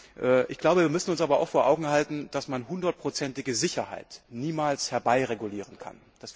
Aber wir müssen uns auch vor Augen halten, dass man hundertprozentige Sicherheit niemals herbeiregulieren kann.